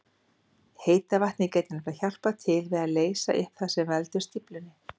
Heita vatnið getur nefnilega hjálpað til við að leysa upp það sem veldur stíflunni.